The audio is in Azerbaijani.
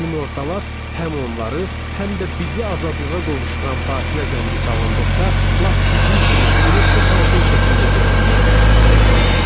Günortalar, həm onları, həm də bizi azadlığa qovuşduran fasilə zəngi çalındıqda lap bizim kimi bunu çox aydın şəkildə görə bilirdik, sevinirdilər.